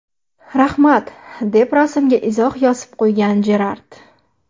Rahmat”, deb rasmga izoh yozib qo‘ygan Jerrard.